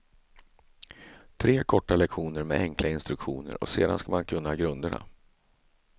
Tre korta lektioner med enkla instruktioner och sedan ska man kunna grunderna.